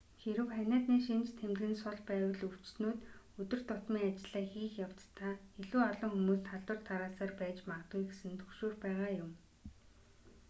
хэрэв ханиадны шинж тэмдэг нь сул байвал өвчтөнүүд өдөр тутмын ажлаа хийх явцдаа илүү олон хүмүүст халдвар тараасаар байж магадгүй гэсэн түгшүүр байгаа юм